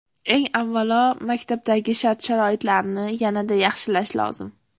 Eng avvalo, maktablardagi shart-sharoitlarni yanada yaxshilash lozim.